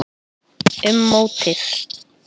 Um mótið